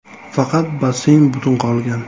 Faqat basseyn butun qolgan.